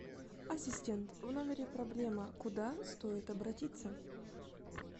ассистент в номере проблема куда стоит обратиться